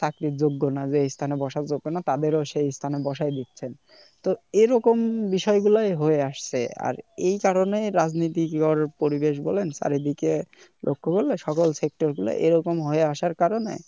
চাকরির যোগ্য না যে এ স্থানে বসার জন্য তাদের ও সেই স্থানে বসাই দিচ্ছেন তো এরকম বিষয় গুলাই হয়ে আসছে আর এই কারনেই রাজনীতির করার পরিবেশ বলেন চারদিকে নকল সকল sector গুলাই এরকম হয়ে আসার কারণে